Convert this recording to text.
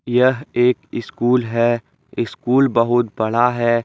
यह एक स्कूल है स्कूल बहुत बड़ा है।